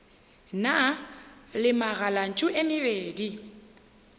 na le megalantšu e mebedi